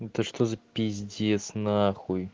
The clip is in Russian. это что за пиздец нахуй